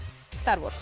star